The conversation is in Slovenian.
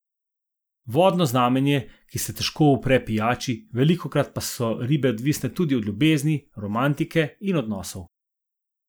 Vodno znamenje, ki se težko upre pijači, velikokrat pa so ribe odvisne tudi od ljubezni, romantike in odnosov.